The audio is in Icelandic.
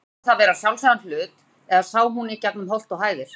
Taldi hún það vera sjálfsagðan hlut, eða sá hún í gegnum holt og hæðir?